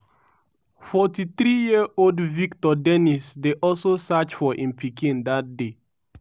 43-year-old victor dennis dey also search for im pikin dat day.